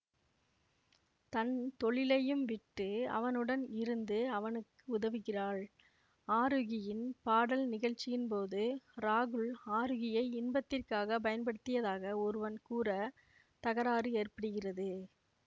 தன் தொழிலையும் விட்டு அவனுடன் இருந்து அவனுக்கு உதவுகிறாள் ஆரூகியின் பாடல் நிகழ்ச்சியின் போது ராகுல் ஆரூகியை இன்பத்திற்காக பயன்படுத்தியதாக ஒருவன் கூற தகராறு ஏற்படுகிறது